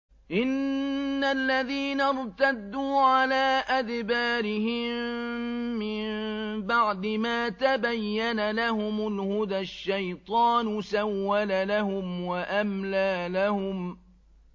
إِنَّ الَّذِينَ ارْتَدُّوا عَلَىٰ أَدْبَارِهِم مِّن بَعْدِ مَا تَبَيَّنَ لَهُمُ الْهُدَى ۙ الشَّيْطَانُ سَوَّلَ لَهُمْ وَأَمْلَىٰ لَهُمْ